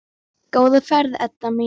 Góða ferð, Edda mín.